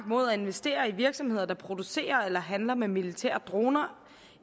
mod at investere i virksomheder der producerer eller handler med militære droner